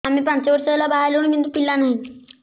ଆମେ ପାଞ୍ଚ ବର୍ଷ ହେଲା ବାହା ହେଲୁଣି କିନ୍ତୁ ପିଲା ନାହିଁ